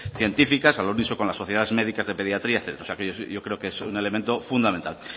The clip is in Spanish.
científicas al unísono con las sociedades médicas de pediatría o sea yo creo que es un elemento fundamental